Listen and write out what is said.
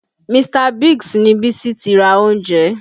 Mr. Biggs ni Bísí ti ra oúnjẹ